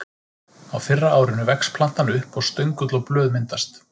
Á fyrra árinu vex plantan upp og stöngull og blöð myndast.